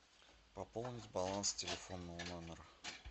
пополнить баланс телефонного номера